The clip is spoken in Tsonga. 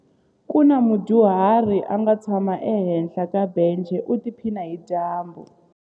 Ku na mudyuhari a nga tshama ehenhla ka bence u tiphina hi dyambu.